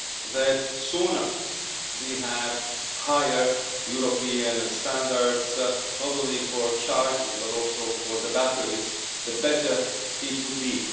that the sooner we have higher European standards, not only for chargers but also for batteries, the better it would be.